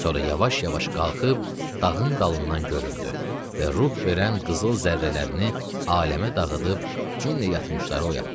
Sonra yavaş-yavaş qalxıb dağın dalından göründü və ruh verən qızıl zərrələrini aləmə dağıdıb, cümlə yatmışları oyatdı.